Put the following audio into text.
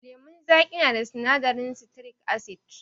Lemun zaƙi na da sinadarin sitirik asid.